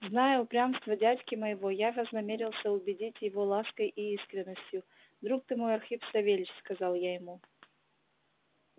зная упрямство дядьки моего я вознамерился убедить его лаской и искренностью друг ты мой архип савельич сказал я ему